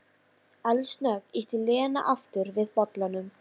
Eldsnöggt ýtti Lena aftur við bollanum.